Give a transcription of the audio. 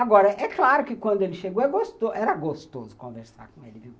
Agora, é claro que quando ele chegou, era gostoso conversar com ele, viu?